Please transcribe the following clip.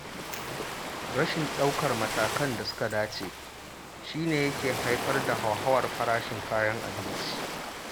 Rashin ɗaukar matakan da suka dace, shi ne yake harfar da hauhawar farashin kayan abinci.